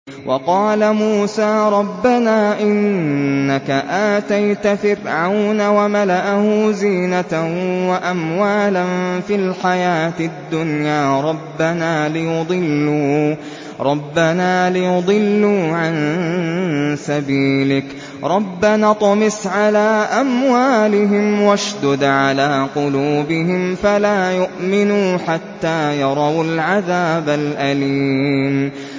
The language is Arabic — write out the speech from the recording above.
وَقَالَ مُوسَىٰ رَبَّنَا إِنَّكَ آتَيْتَ فِرْعَوْنَ وَمَلَأَهُ زِينَةً وَأَمْوَالًا فِي الْحَيَاةِ الدُّنْيَا رَبَّنَا لِيُضِلُّوا عَن سَبِيلِكَ ۖ رَبَّنَا اطْمِسْ عَلَىٰ أَمْوَالِهِمْ وَاشْدُدْ عَلَىٰ قُلُوبِهِمْ فَلَا يُؤْمِنُوا حَتَّىٰ يَرَوُا الْعَذَابَ الْأَلِيمَ